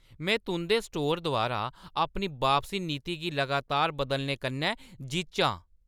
में तुंʼदे स्टोरै द्वारा अपनी बापसी नीति गी लगातार बदलने कन्नै जिच्च आं।